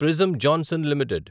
prism Johnson limited